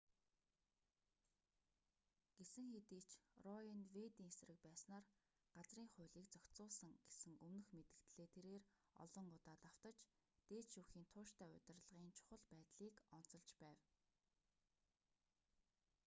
гэсэн хэдий ч рое нь вэйдийн эсрэг байснаар газрын хуулийг зохицуулсан гэсэн өмнөх мэдэгдлээ тэрээр олон удаа давтаж дээд шүүхийн тууштай удирдлагын чухал байдлыг онцолж байв